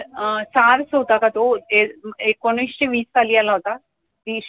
अं होता का तो एकोणीशे वीस साली आला होता ती